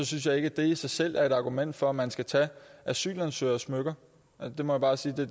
synes jeg ikke at det i sig selv er et argument for at man skal tage asylansøgeres smykker jeg må bare sige